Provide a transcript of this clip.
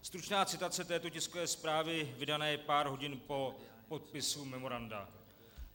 Stručná citace této tiskové zprávy vydané pár hodin po podpisu memoranda.